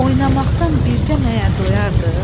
Oynamaqdan bircə məyər doyardıq?